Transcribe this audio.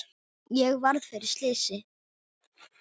Ég varð fyrir slysi